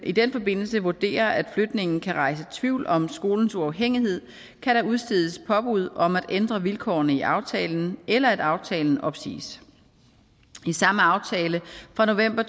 i den forbindelse vurderer at flytningen kan rejse tvivl om skolens uafhængighed kan der udstedes påbud om at ændre vilkårene i aftalen eller om at aftalen opsiges i samme aftale fra november